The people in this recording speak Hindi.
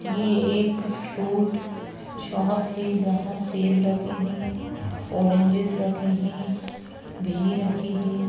ये एक फ्रूट शॉप है जहाँ सेब रखे हैं ऑरेंजेस रखे हैं घी रखी है।